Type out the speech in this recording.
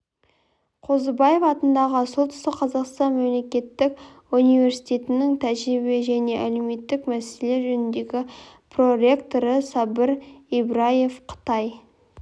қозыбаев атындағы солтүстік қазақстан мемлекеттік университетінің тәрбие және әлеуметтік мәселелер жөніндегі проректоры сабыр ибраев қытай